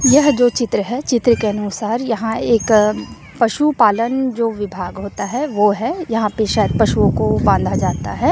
यह जो चित्र है चित्र के अनुसार यहां एक पशु पालन जो विभाग होता हैं वो है यहां पे शायद पशुओं को बांधा जाता हैं।